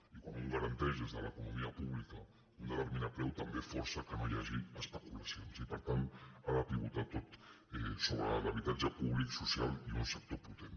i quan un garanteix des de l’economia pública un determinat preu també força que no hi hagi especulacions i per tant ha de pivotar sobre l’habitatge públic social i un sector potent